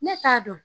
Ne t'a dɔn